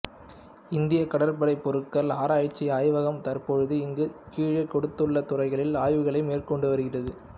இந்தியக் கப்பற்படை பொருட்கள் ஆராய்ச்சி ஆய்வகம் தற்பொழுது இங்கு கீழே கொடுத்துள்ள துறைகளில் ஆய்வுகள் மேற்கொண்டு வருகிறது